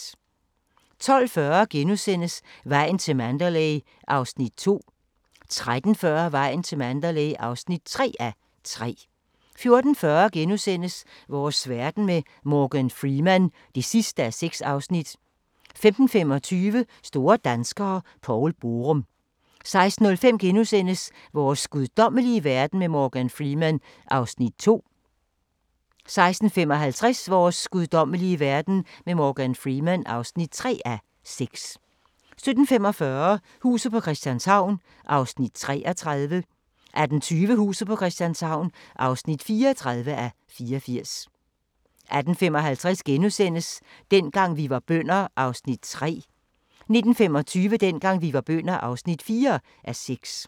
12:40: Vejen til Mandalay (2:3)* 13:40: Vejen til Mandalay (3:3) 14:40: Vores verden med Morgan Freeman (6:6)* 15:25: Store danskere - Poul Borum 16:05: Vores guddommelige verden med Morgan Freeman (2:6)* 16:55: Vores guddommelige verden med Morgan Freeman (3:6) 17:45: Huset på Christianshavn (33:84) 18:20: Huset på Christianshavn (34:84) 18:55: Dengang vi var bønder (3:6)* 19:25: Dengang vi var bønder (4:6)